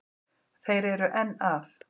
Þeir eru enn að.